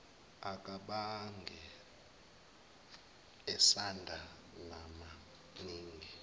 akabange esanda namaningi